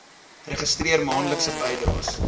registreer maandelikse bydraes